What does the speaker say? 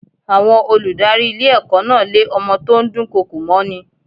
Àwọn olùdarí ilé ẹ̀kọ́ náà lé ọmọ tó ń dùn kọkò mọ́ ni.